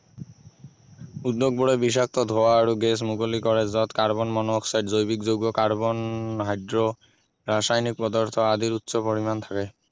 উদ্যোগ বোৰে বিষাক্ত ধোৱা আৰু গেছ মুকলি কৰে যত কাৰ্বন-মন-অক্সাইড জৈৱিক যৌগ কাৰ্বন হাইড্ৰ ৰাসায়নিক পদাৰ্থ আদিৰ উচ্চ পৰিমাণ থাকে